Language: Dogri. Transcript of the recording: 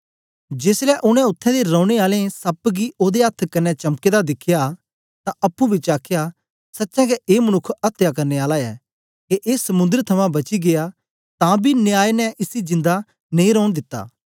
जेसलै उनै उत्थें दे रौने आलें सप्प गी ओदे अथ्थ कन्ने चमके दा दिखया तां अप्पुं बिचें आखया सचें गै ए मनुक्ख अत्या करने आला ऐ के ए समुंद्र थमां बची गीया तां बी न्याय ने इसी जिंदा नेई रौन दिता